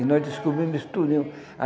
E nós descobrimos isso tudinho.